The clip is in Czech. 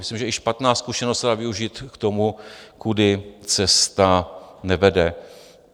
Myslím, že i špatná zkušenost se dá využít k tomu, kudy cesta nevede.